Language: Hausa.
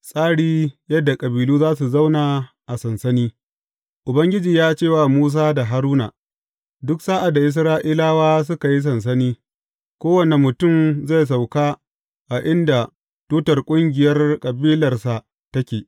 Tsari yadda kabilu za su zauna a sansani Ubangiji ya ce wa Musa da Haruna, Duk sa’ad da Isra’ilawa suka yi sansani, kowane mutum zai sauka a inda tutar ƙungiyar kabilarsa take.